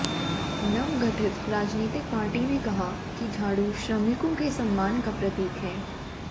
नवगठित राजनीतिक पार्टी ने कहा है कि झाड़ू श्रमिकों के सम्मान का प्रतीक है